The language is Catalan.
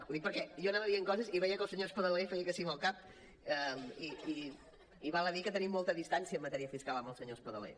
ho dic perquè jo anava dient coses i veia que el senyor espadaler feia que sí amb el cap i val a dir que tenim molta distància en matèria fiscal amb el senyor espadaler